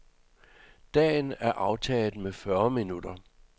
Dagen er aftaget med fyrre minutter.